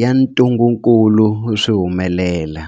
ya ntungukulu swi humelela.